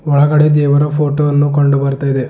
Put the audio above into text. ಒಳಗಡೆ ದೇವರ ಫೋಟೋ ವನ್ನು ಕಂಡು ಬರ್ತಾ ಇದೆ.